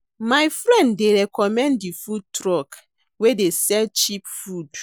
My friend dey recommend di food truck wey dey sell cheap food.